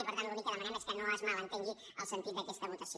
i per tant l’únic que demanem és que no es malentengui el sentit d’aquesta votació